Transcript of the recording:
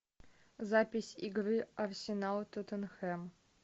запись игры арсенал тоттенхэм